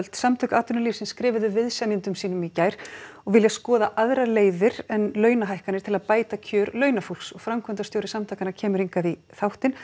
samtök atvinnulífsins skrifuðu viðsemjendum sínum í gær og vilja skoða aðrar leiðir en launahækkanir til að bæta kjör launafólks framkvæmdastjóri samtakanna kemur í þáttinn